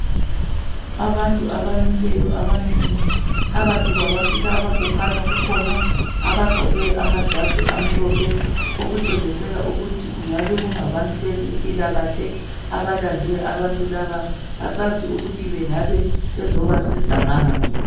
Abantu abamileyo abanengi phakathi kwabantu laba kukhanya kukhona abaqgoke amajazi amhlophe okutshengisela ukuthi kungabe kungabantu bezempila kahle abalande abantu laba asazi ukuthi bengabe bezobasiza ngani